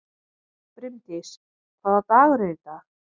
Brimdís, hvaða dagur er í dag?